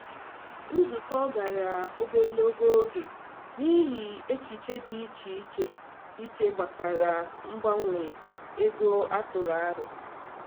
Nzukọ gara ogologo oge n’ihi echiche dị iche dị iche iche gbasara mgbanwe ego a tụrụ aro.